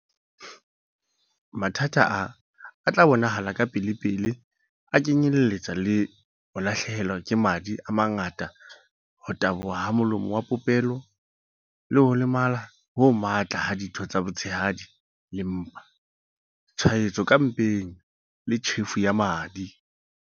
"Mathata a a tla bonahala kapelepele a kenyeletsa ho lahlehelwa ke madi a mangata ho taboha ha molomo wa popelo, ho lemala ho matla ha ditho tsa botshehadi le mpa, tshwaetso ka mpeng le tjhefo ya madi."